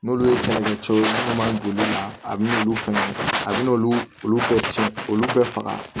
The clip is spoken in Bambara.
N'olu ye funɛcɛw don olu la a bin'olu fɛnɛ a bɛ n'olu ka cɛn olu bɛɛ faga